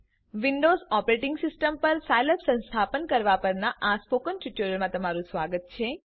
Windows operating system પર Scilab સંસ્થાપન પરના સ્પોકન ટ્યુટોરીયલમાં તમારું સ્વાગત છે